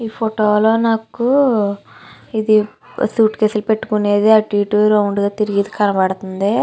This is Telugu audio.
ఈ ఫోటో లో నాకు ఇది సూట్కేసు లు పెట్టు కునేది అటు ఇటు రౌండ్ గా తిరిగేది కబడుతుంది.